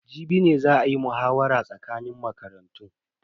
Jibi ne za a yi muhawara tsakanin makarantun.